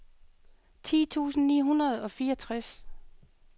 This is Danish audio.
ti tusind ni hundrede og fireogtres